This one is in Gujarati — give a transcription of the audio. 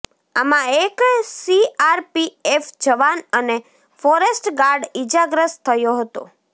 આમાં એક સીઆરપીએફ જવાન અને ફોરેસ્ટ ગાર્ડ ઇજાગ્રસ્ત થયો હતો